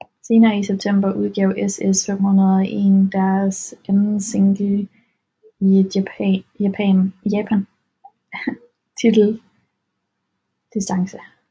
Senere i setemper udgav SS501 deres anden single i Japan titlet Distance